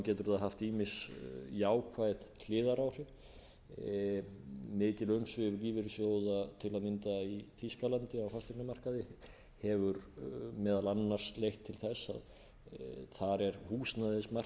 getur það haft ýmis jákvæð hliðaráhrif mikil umsvif lífeyrissjóða til að mynda í þýskalandi á fasteignamarkaði hafa meðal annars leitt til þess að þar er húsnæðismarkaður ekki